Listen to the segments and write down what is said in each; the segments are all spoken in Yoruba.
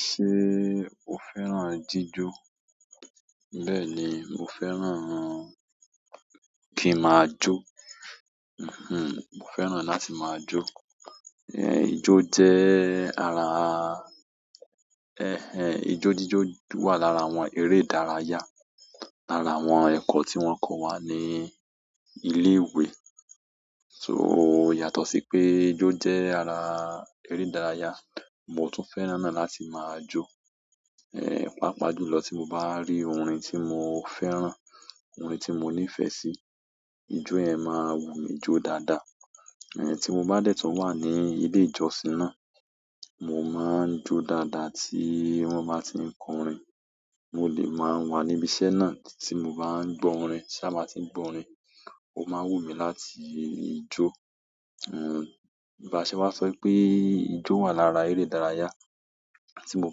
Ṣé o fẹ́ràn jíjó? Bẹ́ẹ̀ni, mo fẹ́ràn kí n máa jó. Hmm, mo fẹ́ràn láti máa jo. Ẹ, ijó jẹ́ ara, ẹh ẹh ijó jíjó wà lára àwọn eré ìdárayá, lára àwọn ẹ̀kọ́ tí wọ́n kọ́ wa ní ilé ìwé. So yàtọ̀ sí pé ijó jẹ́ ara eré ìdárayá, mo tún fẹ́ràn náà láti máa jọ. Ẹ, pàápàá jùlọ tí mo bá ri orin tí mo fẹ́ràn, orin tí mo nífẹ̀ẹ́ sí, ijó yẹn máa wù mí jó dáadáa. Ẹ, tí mo bá dẹ́ẹ̀ tu wà ní ilé ìjọsìn náà, mo máa ń jọ dáadáa tí wọ́n bá tí ń kọ́rin. Mo lẹ́ máa wà níbi iṣẹ́ náà, tí mo bá ń gbọ́ orin, tí a bá tí ń gbọ́ orin, ó máa wù mí láti jó. Hmm, bá ṣe wá sọ pé ijó wà lára eré ìdárayá. Ti mo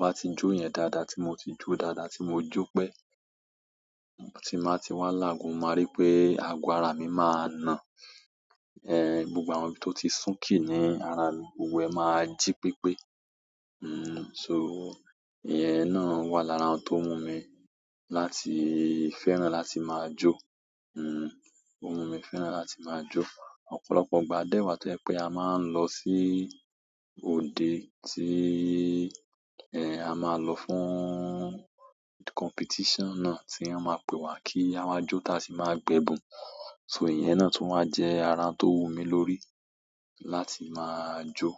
ba ti jo ijo ye dáadáa ti mo ti jo dáadáa, ti mo jo pe, ti n ba ti wa nu lagun, mo ma ri pe ago ara mi maa náà, eh, gbogbo àwọn to ti sunki ni ara mi, gbogbo eh ma ji pepe. Hmm, so ìyẹn náà wà lára ohun tó mù mí láti fẹ́ràn láti máa jo. Hmm, ó wù mí fẹ́ràn láti máa jó. Ọ̀pọ̀lọpọ̀ ìgbà a dẹ́ẹ̀ wà tó yẹ pé a máa ń lọ sí òdè, tí ẹ a máa lò fún competition náà tí wọ́n máa pè wá kí a máa jo táa sì máa gbẹ̀bùn. So ìyẹn náà tún wà jẹ́ ara tó wù mí lórí láti máa jó.